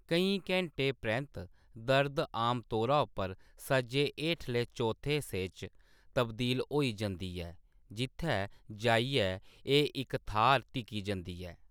केईं घैंटें परैंत्त, दर्द आमतौरा उप्पर सज्जे हेठले चौथे हिस्से च तब्दील होई जंदी ऐ, जित्थै जाइयै एह् इक थाह्‌र टिकी जंदी ऐ।